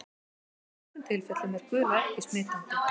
En í flestum tilfellum er gula ekki smitandi.